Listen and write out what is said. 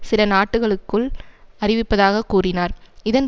சில நாட்டுகளுக்குள் அறிவிப்பதாக கூறினார் இதன்